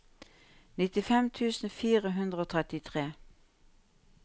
nittifem tusen fire hundre og trettitre